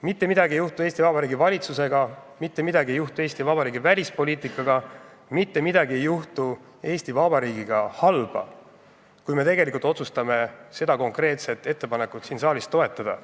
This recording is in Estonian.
Mitte midagi ei juhtu Eesti Vabariigi valitsusega, mitte midagi ei juhtu Eesti Vabariigi välispoliitikaga, mitte midagi ei juhtu Eesti Vabariigiga halba, kui me otsustame seda konkreetset ettepanekut siin saalis toetada.